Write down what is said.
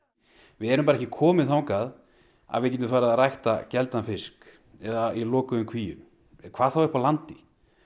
við erum bara ekki komin þangað að við getum farið að rækta fisk eða í lokuðum kvíum hvað þá upp á landi